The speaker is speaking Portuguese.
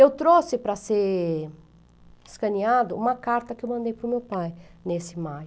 Eu trouxe para ser escaneado uma carta que eu mandei para o meu pai nesse maio.